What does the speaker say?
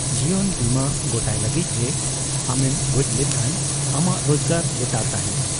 ᱡᱤᱭᱚᱱ ᱵᱤᱢᱟᱹ ᱜᱚᱴᱟᱭ ᱞᱟᱹᱜᱤᱫ ᱡᱮ ᱟᱢᱮᱢ ᱜᱚᱡᱽ ᱞᱮᱱᱠᱷᱟᱱ ᱟᱢᱟᱜ ᱨᱚᱡᱜᱟᱨ ᱞᱮᱛᱟᱲ ᱛᱟᱦᱮᱸᱱᱟ ᱾